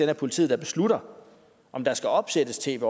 er politiet der beslutter om der skal opsættes tv